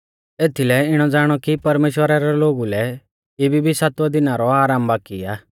एथीलै इणौ ज़ाणौ कि परमेश्‍वरा रै लोगु लै इबी भी सातवै दिना रौ आरामा बाकी आ